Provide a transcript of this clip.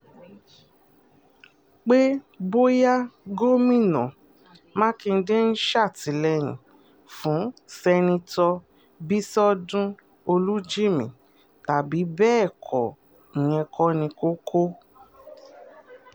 pé bóyá gọ́mìn mákindé ń ṣàtìlẹ́yìn fún sẹ́ńtítọ́ bíṣọdún olújímì tàbí bẹ́ẹ̀ kọ́ ìyẹn kò ní koko